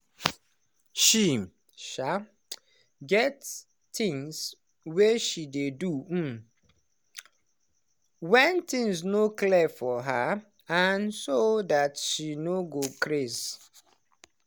she um get things way she dey do um when things no clear for her and so that she no go craze